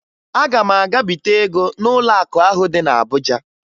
Aga m aga bite ego n'ụlọakụ ahụ dị na Abuja